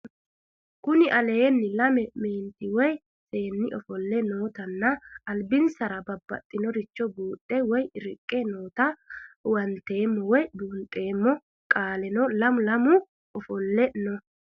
Kuni lame meenti woyi seeni ofoole nootana alibinasrano babaxinoricho buuxe woyi riqe noota huwantemo wyo bunxemo qoleno mule mule ofoole no